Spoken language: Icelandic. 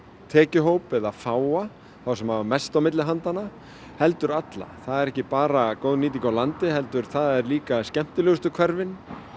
tekjuhóp eða fáa þá sem hafa mest á milli handanna heldur allra það er ekki bara góð nýting á landi heldur það er líka skemmtilegustu hverfin